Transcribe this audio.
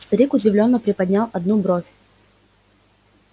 старик удивлённо приподнял одну бровь